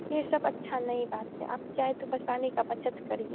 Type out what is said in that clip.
ये सब अच्छा नहीं बात है आप चाहे तो पानी का बचत करिए।